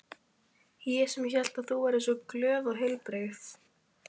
Ég sem hélt að þú væri svo glöð og heilbrigð.